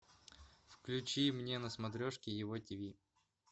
включи мне на смотрежке его тв